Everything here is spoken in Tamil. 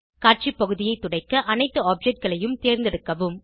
காட்சி பகுதியை துடைக்க அனைத்து objectகளைம் தேர்ந்தெடுக்கவும்